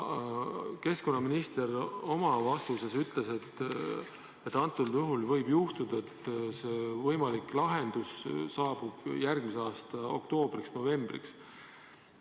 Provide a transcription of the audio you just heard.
Keskkonnaminister oma vastuses ütles, et võib juhtuda, et võimalik lahendus saabub järgmise aasta oktoobriks-novembriks.